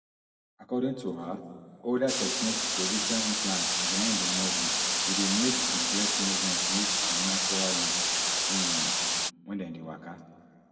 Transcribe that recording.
according to her older techniques position implants behind di muscle e dey make di breast movement look unnatural look um wen dem dey waka